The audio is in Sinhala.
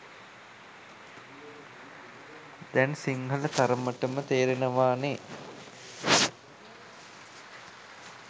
දැන් සිංහල තරමටම තේරෙනවානේ